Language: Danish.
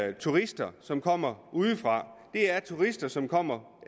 er turister som kommer udefra det er turister som kommer